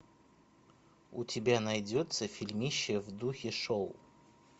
у тебя найдется фильмище в духе шоу